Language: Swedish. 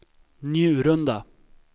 Njurunda